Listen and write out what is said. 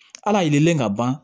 Ala yelen ka ban